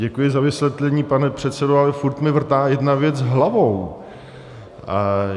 Děkuji za vysvětlení, pane předsedo, ale furt mi vrtá jedna věc hlavou.